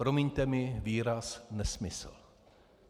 Promiňte mi výraz nesmysl.